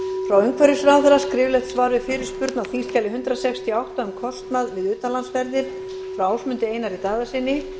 frá umhverfisráðherra skriflegt svar við fyrirspurn á þingskjali hundrað sextíu og átta um kostnað við utanlandsferðir frá ásmundi einari daðasyni